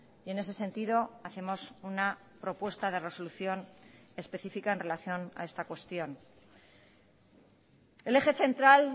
y en ese sentido hacemos una propuesta de resolución específica en relación a esta cuestión el eje central